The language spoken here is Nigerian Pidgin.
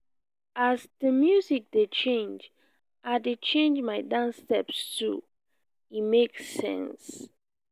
as di music dey change i dey change my dance steps too e make sense.